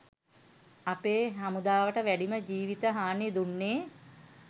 අපේ හමුදාවට වැඩිම ජිවිත හානි දුන්නේ.